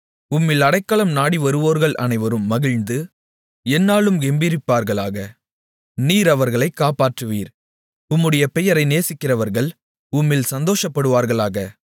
உம்மில் அடைக்கலம் நாடிவருவோர்கள் அனைவரும் மகிழ்ந்து எந்நாளும் கெம்பீரிப்பார்களாக நீர் அவர்களைக் காப்பாற்றுவீர் உம்முடைய பெயரை நேசிக்கிறவர்கள் உம்மில் சந்தோஷப்படுவார்களாக